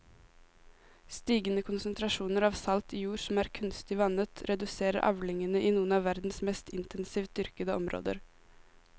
Stigende konsentrasjoner av salt i jord som er kunstig vannet reduserer avlingene i noen av verdens mest intensivt dyrkede områder.